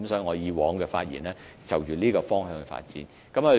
我以往說的是朝着這方向發展。